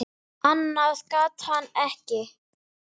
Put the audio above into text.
Annað gat hann ekki.